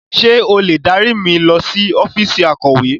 Ṣé o lè dárí mi lọ sí ọ́fíìsì akọ̀we?